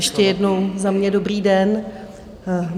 Ještě jednou za mě dobrý den.